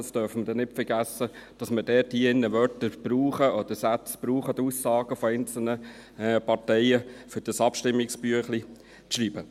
Dies wegen der Abstimmungsbotschaft, für welche wir Wörter, Sätze oder Aussagen von einzelnen Parteien brauchen, um das Abstimmungsbüchlein zu schreiben.